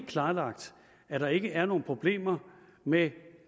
klarlagt at der ikke er nogen problemer med